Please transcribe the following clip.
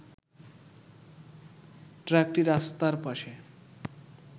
ট্রাকটি রাস্তার পাশে